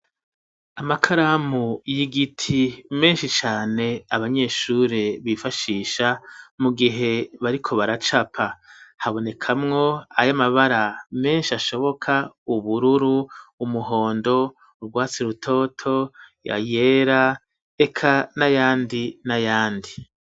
Amakaramu y'igiti menshi cane abanyeshuri bifashisha mu gihe bariko baracapa, habonekamwo ay'amabara menshi ashoboka ubururu, umuhondo ugwatsi rutoto, ayera eka n'ayandi n'ayandi.